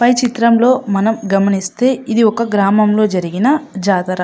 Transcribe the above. పై చిత్రం లో మనం గమనిస్తే ఒక గ్రామంలో జరిగిన జాతర.